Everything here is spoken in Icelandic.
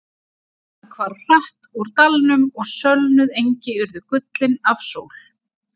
Þokan hvarf hratt úr dalnum og sölnuð engi urðu gullin af sól.